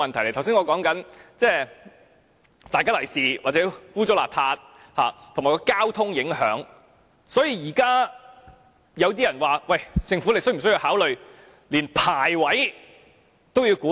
我剛才所說的"大吉利是"或不清潔，以及交通的影響，現在有人說政府是否需要考慮連牌位都要規管。